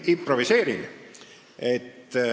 Ma improviseerin.